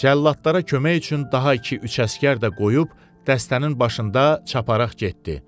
Cəlladlara kömək üçün daha iki-üç əsgər də qoyub dəstənin başında çapararaq getdi.